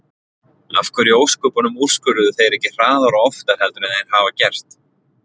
Af hverju í ósköpunum úrskurðuðu þeir ekki hraðar og oftar heldur en þeir hafa gert?